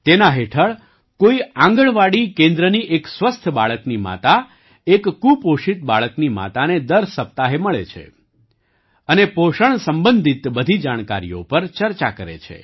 તેના હેઠળ કોઈ આંગણવાડી કેન્દ્રની એક સ્વસ્થ બાળકની માતા એક કુપોષિત બાળકની માને દર સપ્તાહે મળે છે અને પોષણ સંબંધિત બધી જાણકારીઓ પર ચર્ચા કરે છે